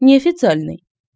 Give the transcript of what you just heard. неофициальный